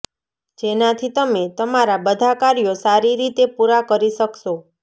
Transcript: જેનાથી તમે તમારા બધા કાર્યો સારી રીતે પૂરાં કરી શકશો